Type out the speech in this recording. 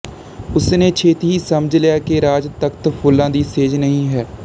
ਉਸ ਨੇ ਛੇਤੀ ਹੀ ਸਮਝ ਲਿਆ ਕਿ ਰਾਜ ਤਖਤ ਫੁੱਲਾਂ ਦੀ ਸੇਜ ਨਹੀਂ ਹੈ